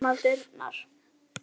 Opnar dyrnar.